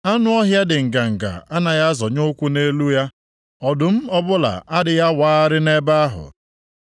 Anụ ọhịa dị nganga anaghị azọnye ụkwụ nʼelu ya, ọdụm ọbụla adịghị awagharị nʼebe ahụ.